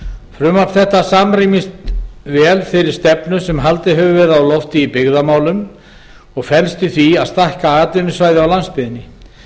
frumvarp þetta samrýmist vel þeirri stefnu sem haldið hefur verið á lofti í byggðamálum og felst í því að stækka atvinnusvæði á landsbyggðinni